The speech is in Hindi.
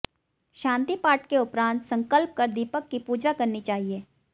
शांति पाठ के उपरांत संकल्प कर दीपक की पूजा करनी चाहिए